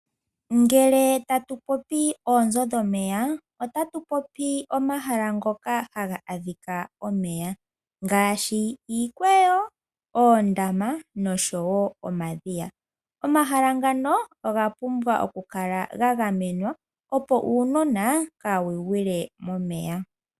Ngele tatu popi oonzo dhomeya, otatu popi omahala ngoka haga adhika omeya ngaashi iikweyo, oondama nosho wo omadhiya. Omahala ngaka ogapumbwa okukala gagamenwa opo uunona kawu gwile momeya.